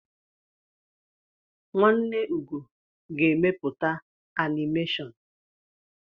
Nwanne Ugo ga-emepụta anịmeshọn.